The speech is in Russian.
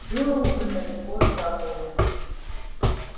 было уже далеко за полночь